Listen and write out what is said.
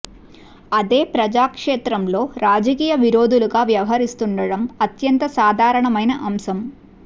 అదే ప్రజా క్షేత్రంలో రాజకీయ విరోధులుగా వ్యవహరిస్తుండడం అత్యంత సాదారణమైన అంశం